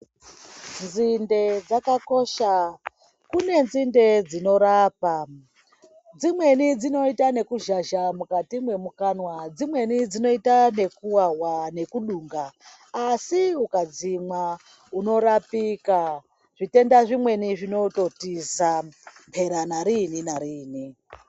Nzinde dzakakosha kune nzinde dzinorapa dzimweni dzinoita nekuzhazha mukati memukanwa dzimweni dzinoita nekuwawa nekudunga asi ukadzimwa unorapika zvitenda zvimweni zvinototiza mhera nariini nariini.